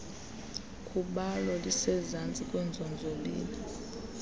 khubalo lisezantsi kwiinzonzobila